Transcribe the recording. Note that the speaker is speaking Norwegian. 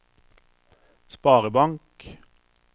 sparebank